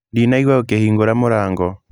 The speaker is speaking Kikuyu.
Ndinaigua ũkĩhingũra mũrango.